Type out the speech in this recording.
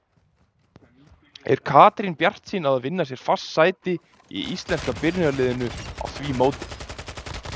Er Katrín bjartsýn á að vinna sér fast sæti í íslenska byrjunarliðinu á því móti?